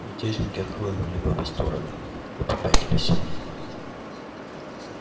мятежники отхлынули в обе стороны и попятились